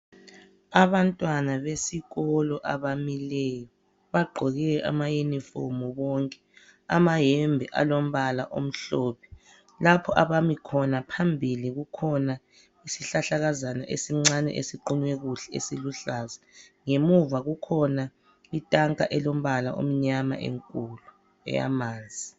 Abantwana besikolo abamileyo bagqoke amayunifomu bonke amayembe alombala omhlophe, lapho abami khona phambili kukhona isihlahlakazana esincane esiqunywe kuhle esiluhlaza ngemuva kukhona itanka elombala omnyama enkulu eyamanzi.